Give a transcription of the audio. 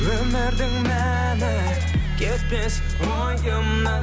өмірдің мәні кетпес ойымнан